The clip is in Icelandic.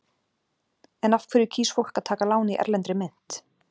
En af hverju kýs fólk að taka lán í erlendri mynt?